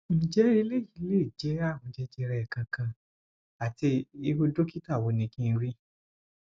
nje eleyi le je arun jejere kan kan ati iru dokita wo ni kin ri